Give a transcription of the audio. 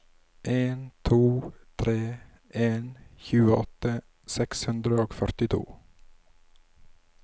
en to tre en tjueåtte seks hundre og førtito